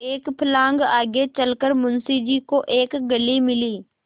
एक फर्लांग आगे चल कर मुंशी जी को एक गली मिली